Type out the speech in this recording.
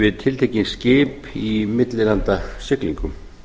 við tiltekin skip í millilandasiglingum